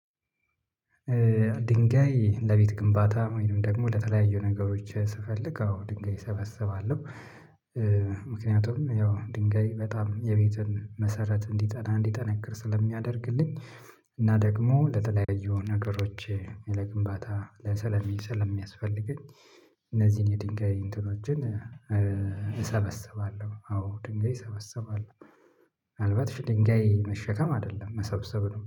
ድንጋይ ለቤት ግንባታ ወይም ደግሞ ለተለያዩ ነገሮች ስፈልግ አዎ ድንጋይ እሰበስባለሁ። ምክንያቱም ያው ድንገይ በጣም የቤትን መሰረት እንዲጠና፣ እንዲጠነክር ስለሚያደርግልኝ እና ደግሞ ለተለያዩ ነገሮች ለግንባታ ለሰለሚ ሰለሚያስፈልገኝ የሚያስፈልገኝ እነዚህን የድንጋይ እንትኖችን እሰበሰባለሁ፤ አዎ፣ ድንጋይ እሰበሰባለሁ። ምናልባት ሽህ ድንጋይ መሸከም አይደለም መሰብሰብ ነው